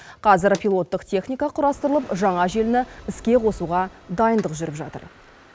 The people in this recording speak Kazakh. қазір пилоттық техника құрастырылып жаңа желіні іске қосуға дайындық жүріп жатыр